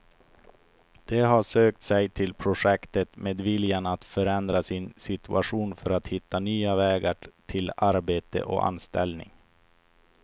De har sökt sig till projektet med viljan att förändra sin situation för att hitta nya vägar till arbete och anställning.